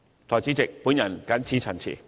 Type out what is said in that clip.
代理主席，我謹此陳辭。